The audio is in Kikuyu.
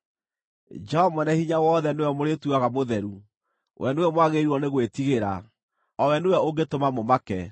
Jehova Mwene-Hinya-Wothe nĩwe mũrĩtuaga mũtheru, we nĩwe mwagĩrĩirwo nĩ gwĩtigĩra, o we nĩwe ũngĩtũma mũmake,